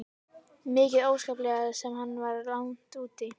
Mikið óskaplega sem hann var langt úti.